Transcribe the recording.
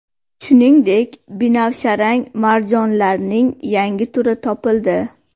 Shuningdek, binafsharang marjonlarning yangi turi topildi.